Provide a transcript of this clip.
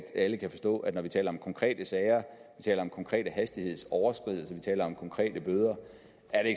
alle kan forstå at når vi taler om konkrete sager vi taler om konkrete hastighedsoverskridelser vi taler om konkrete bøder